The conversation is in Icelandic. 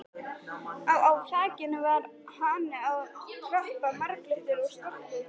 Á á þakinu var hani að kroppa, marglitur og stoltur.